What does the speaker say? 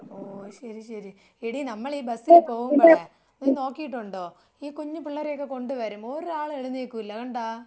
ഓ ശരി ശരി. എടീ നമ്മൾ ഈ ബസ്സിൽ പോവുമ്പോഴേ നീ നോക്കിട്ടുണ്ടോ ഈ കുഞ്ഞു പിള്ളേരൊക്കെ കൊണ്ടുവരും ഒരാള് എഴുന്നേൽക്കൂലാ കണ്ടാ?